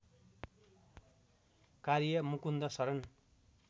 कार्य मुकुन्द शरण